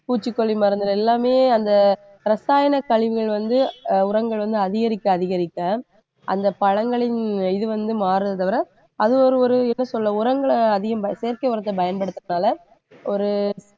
பூச்சிக்கொல்லி மருந்துகள் எல்லாமே அந்த ரசாயன கழிவுகள் வந்து அஹ் உரங்கள் வந்து அதிகரிக்க அதிகரிக்க அந்தப் பழங்களின் இது வந்து மாறுதே தவிர அது ஒரு ஒரு என்ன சொல்ல உரங்களை அதிகம் ப~ செயற்கை உரத்தைப் பயன்படுத்துறதுனால ஒரு